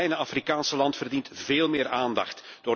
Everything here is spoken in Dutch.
Dit kleine Afrikaanse land verdient veel meer aandacht.